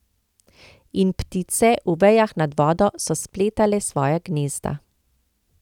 In ptice, v vejah nad vodo, so spletale svoja gnezda.